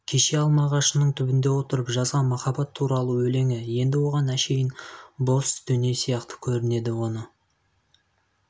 кеше алма ағашының түбінде отырып жазған махаббат туралы өлеңі енді оған әншейін бос дүние сияқты көрінді оны